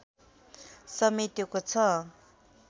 समेटेको छ